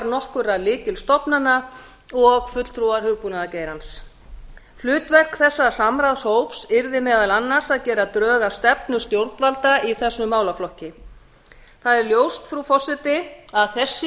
nokkurra lykilstofnana og fulltrúar hugbúnaðargeirans hlutverk þessa samráðshóps yrði meðal annars að gera drög að stefnu stjórnvalda í þessum málaflokki það er ljóst frú forseti að þessi þingsályktunartillaga